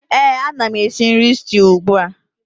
Éè, ana m esi nri stew ugbu a